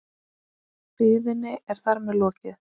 Biðinni er þar með lokið.